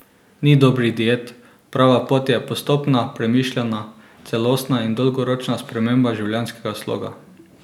Ni dobrih diet, prava pot je postopna, premišljena, celostna in dolgoročna sprememba življenjskega sloga.